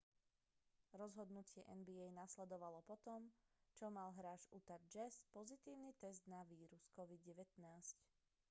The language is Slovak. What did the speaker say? rozhodnutie nba nasledovalo po tom čo mal hráč utahu jazz pozitívny test na vírus covid-19